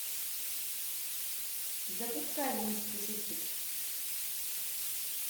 запускай месть пушистых